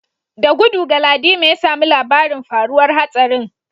Da gudu Galadima ya samu labarin faruwar hatsarin